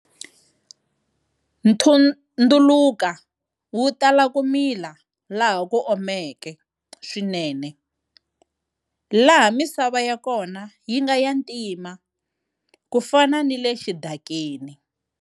Nthunduluka wu tala ku mila laha ku omeke swinene, laha misava ya kona yi nga ya ntima ku fana ni le xidakeni.